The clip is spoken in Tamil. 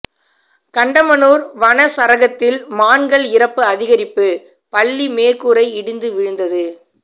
கண்டமனூர் வனச்சரகத்தில் மான்கள் இறப்பு அதிகரிப்பு பள்ளி மேற்கூரை இடிந்து விழுந்தது